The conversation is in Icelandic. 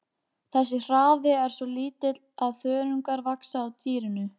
Þessi hraði er svo lítill að þörungar vaxa á dýrinu.